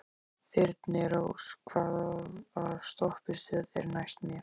Þyrnirós, hvaða stoppistöð er næst mér?